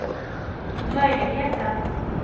möjligheterna